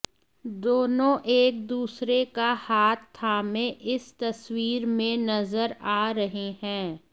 दोनों एक दूसरे का हाथ थामे इस तस्वीर में नजर आ रहे हैं